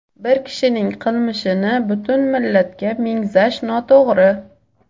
Bir kishining qilmishini butun millatga mengzash noto‘g‘ri!.